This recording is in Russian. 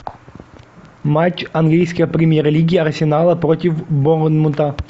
матч английской премьер лиги арсенала против борнмута